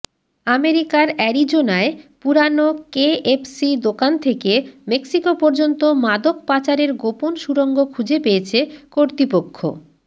আমেরিকার অ্যারিজোনায় পুরানো কেএফসি দোকান থেকে মেক্সিকো পর্যন্ত মাদক পাচারের গোপন সুড়ঙ্গ খুঁজে পেয়েছে কর্তৃপক্ষ